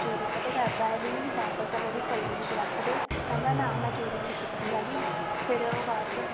ਕਹਿੰਦੀ ਤੂੰ ਚੋਰੀ ਕਾਤੋ ਕਰਦਾ ਵੀ ਵਾਪਿਸ ਉਹਦੀ ਪੱਲੀ ਵਿੱਚ ਰੱਖਦੇ ਕਹਿੰਦਾ ਨਾ ਮੈਂ ਚੋਰੀ ਨਹੀਂ ਕੀਤੀ ਹੈਗੀ ਫਿਰ ਉਹ ਬਾਅਦ ਚੋਂ